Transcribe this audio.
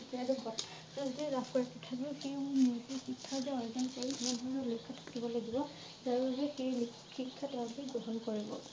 আৰু লাভ কৰে তথাপিও সি শিক্ষা অৰ্জন কৰি এনেদৰে থাকিব লাগিব সেই শিক্ষা তেওঁলোকে গ্ৰহণ কৰিব ।